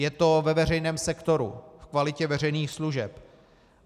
Je to ve veřejném sektoru, v kvalitě veřejných služeb.